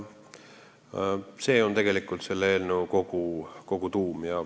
See on tegelikult selle eelnõu tuum.